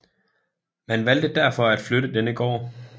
Man valgte derfor at flytte denne gård